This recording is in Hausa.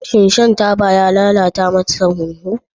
Shin shan taba ya lalata masa huhu?